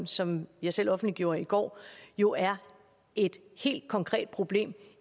som jeg selv offentliggjorde i går jo er et helt konkret problem